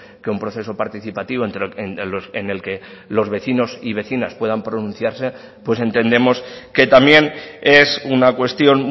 que un proceso participativo en el que los vecinos y vecinas puedan pronunciarse pues entendemos que también es una cuestión